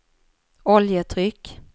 oljetryck